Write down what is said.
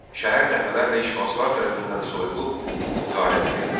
Şəhər dəfələrlə işğalçılar tərəfindən soyulub, qarət edilmişdi.